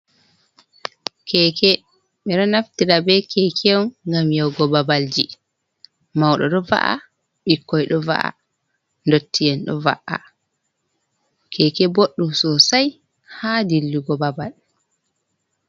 Keke ɓeɗo naftira be keke’on ngam yahugo babalji. mauɗo ɗo va’a, ɓikkoi ɗo va’a, dotti'en ɗo va’a. keke boɗɗum sosai ha dillugo babal.